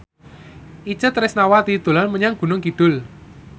Itje Tresnawati dolan menyang Gunung Kidul